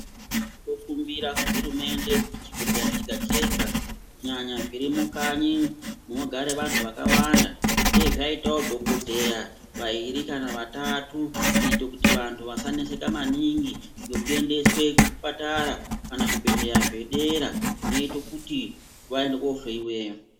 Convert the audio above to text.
Tinokumbira kuhurumende kuti chibhedhleya chega-chega kunyanya zvirimukanyi munogare vantu vakawanda, dai zvaitavo dhogodheya vairi kana vatatu. Kuite kuti vantu vasaneseka maningi nekuendeswe kuzvipatara kana zvibhedhleya zvedera zvinoite kuti vaende kofeveya.